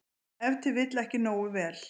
Ef til vill ekki nógu vel.